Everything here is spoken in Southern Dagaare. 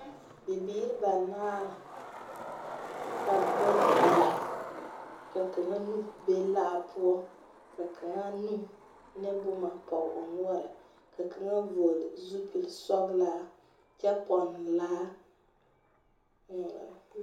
Bibiir banaar, ka bayi la, ka kanga nu be laa poʊ, ka kanga nu ne boma pɔge o noure Ka kanga vogle zupul sɔglaa kye ponne laa